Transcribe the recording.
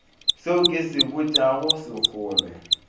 seo ke se botšago sekgole